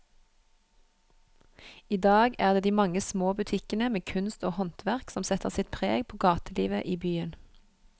I dag er det de mange små butikkene med kunst og håndverk som setter sitt preg på gatelivet i byen.